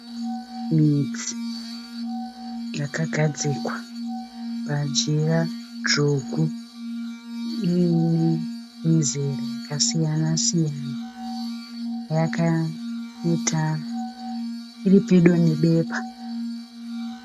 Midzi yakagadzikwa pajira dzvuku iyine mizera yakasiyana -siyana. Iri pedo nebepa.